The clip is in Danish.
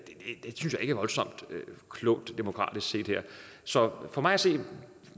er voldsomt klogt demokratisk set så for mig at se har